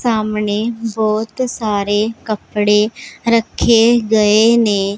ਸਾਹਮਣੇ ਬਹੁਤ ਸਾਰੇ ਕੱਪੜੇ ਰੱਖੇ ਗਏ ਨੇ।